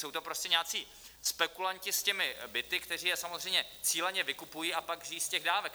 Jsou to prostě nějací spekulanti s těmi byty, kteří je samozřejmě cíleně vykupují a pak žijí z těch dávek.